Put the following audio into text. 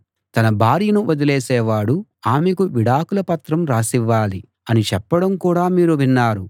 తన భార్యను వదిలేసేవాడు ఆమెకు విడాకుల పత్రం రాసివ్వాలి అని చెప్పడం కూడా మీరు విన్నారు